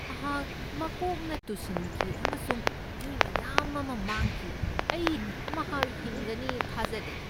ꯃꯍꯥꯛ ꯃꯀꯣꯛꯅ ꯇꯨꯁꯤꯟꯈꯤ ꯑꯃꯁꯨꯡ ꯏ ꯃꯌꯥꯝ ꯑꯃ ꯃꯥꯡꯈꯤ꯫ ꯑꯩ ꯃꯍꯥꯛ ꯍꯤꯡꯒꯅꯤ ꯊꯥꯖꯗꯦ꯫